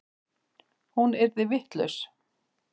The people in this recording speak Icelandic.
Hún yrði vitlaus.